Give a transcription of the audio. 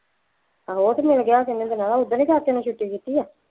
ਆਹੋ ਉਹ ਤਾਂ ਮਿਲ ਗਿਆ ਕਿੰਨੇ ਦਿਨਾਂ ਦਾ ਉਹ ਦਿਨ ਹੀ ਕਾਕੇ ਨੂੰ ਛੁੱਟੀ ਕੀਤੀ ਹੈ